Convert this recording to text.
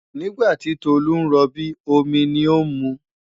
Nígbà tí Tolu ń rọbí, omi ni ó ń mu.